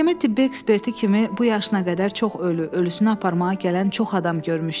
Məhkəmə tibbi eksperti kimi bu yaşına qədər çox ölü, ölüsünü aparmağa gələn çox adam görmüşdü.